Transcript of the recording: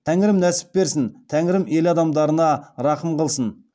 тәңірім нәсіп берсін тәңірім ел адамдарына рақым қылсын